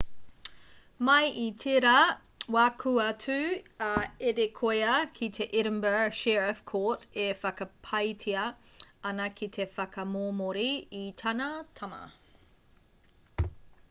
mai i tērā wā kua tū a adekoya ki te edinburgh sheriff court e whakapaetia ana ki te whakamomori i tāna tama